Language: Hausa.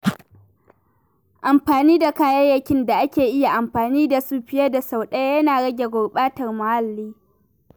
Amfani da kayayyakin da ake iya amfani da su fiye da sau ɗaya yana rage gurbatar muhalli.